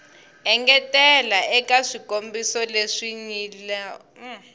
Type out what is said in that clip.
engetela eka swikombiso leswi nyilaweke